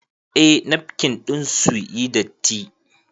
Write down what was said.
Eh nafkin ɗin sun yi datti